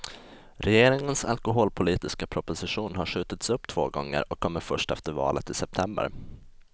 Regeringens alkoholpolitiska proposition har skjutits upp två gånger och kommer först efter valet i september.